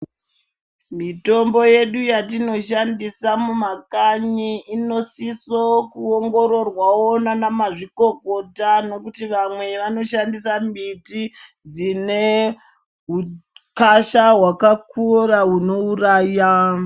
Mitombo yedu yatinoshandisa mumakanyi inosiso kuongororwawo nanamazvikokota nokuti vamwe vanoshandisa mbiti dzine ukasha hwakakura hunouraya.